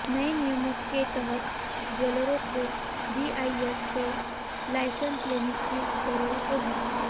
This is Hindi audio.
नए नियमों के तहत ज्वैलरों को बीआईएस से लाइसेंस लेने की जरूरत होगी